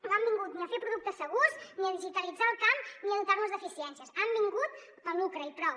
no han vingut ni a fer productes segurs ni a digitalitzar el camp ni a dotar nos d’eficiències han vingut pel lucre i prou